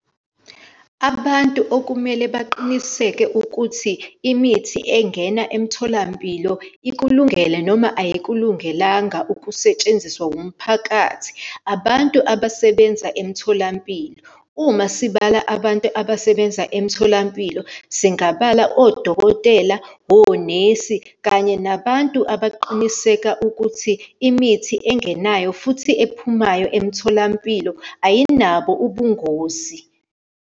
Abantu okumele baqiniseke ukuthi imithi engena emtholampilo ikulungele noma ayikulungelanga ukusetshenziswa umphakathi, abantu abasebenza emtholampilo. Uma sibala abantu abasebenza emtholampilo, singabala odokotela, onesi kanye nabantu abaqiniseka ukuthi imithi engenayo futhi ephumayo emtholampilo, ayinabo ubungozi.